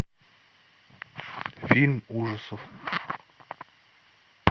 фильм ужасов